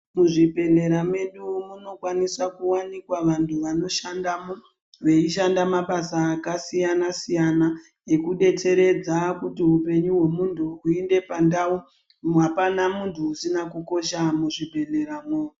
Muzvibhedhleya medu munokwanisa kuwanikwa vantu vanishandamo veishanda mabasa akasiyana siyana nekudetseredza kuti upenyu hwemuntu huende pandau, apana muntu usina kukosha muzvibhedhleyamwo.